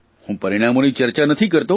હું પરિણામોની ચર્ચા નથી કરતો